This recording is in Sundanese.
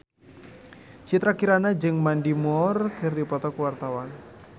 Citra Kirana jeung Mandy Moore keur dipoto ku wartawan